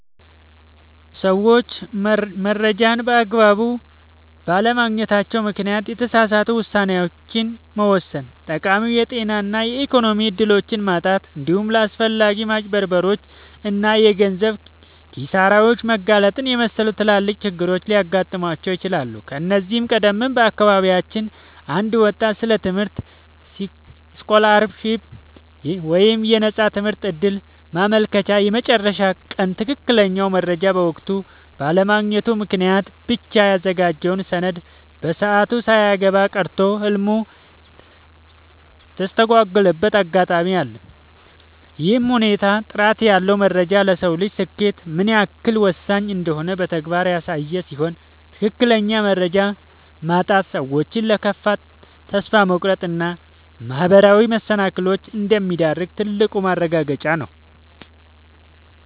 ሰዎች መረጃን በአግባቡ ባለማግኘታቸው ምክንያት የተሳሳቱ ውሳኔዎችን መወሰን፣ ጠቃሚ የጤና እና የኢኮኖሚ እድሎችን ማጣት፣ እንዲሁም ለአላስፈላጊ ማጭበርበሮች እና የገንዘብ ኪሳራዎች መጋለጥን የመሰሉ ትላልቅ ችግሮች ሊገጥሟቸው ይችላሉ። ከዚህ ቀደም በአካባቢያችን አንድ ወጣት ስለ ትምህርት ስኮላርሺፕ (የነፃ ትምህርት ዕድል) ማመልከቻ የመጨረሻ ቀን ትክክለኛውን መረጃ በወቅቱ ባለማግኘቱ ምክንያት ብቻ ያዘጋጀውን ሰነድ በሰዓቱ ሳያስገባ ቀርቶ ህልሙ የተስተጓጎለበት አጋጣሚ አለ። ይህ ሁኔታ ጥራት ያለው መረጃ ለሰው ልጅ ስኬት ምን ያህል ወሳኝ እንደሆነ በተግባር ያሳየ ሲሆን፣ ትክክለኛ መረጃ ማጣት ሰዎችን ለከፋ ተስፋ መቁረጥ እና ማህበራዊ መሰናክሎች እንደሚዳርግ ትልቅ ማረጋገጫ ነው።